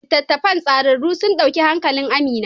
Littattafan tsararru sun dauki hankalin Amina.